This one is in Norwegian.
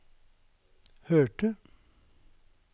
hørte